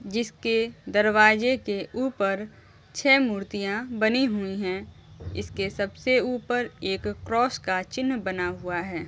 जिसके दरवाजे के ऊपर छह मूर्तियां बनी हुई हैं इसके सबसे ऊपर एक क्रॉस का चिन्ह बना हुआ है।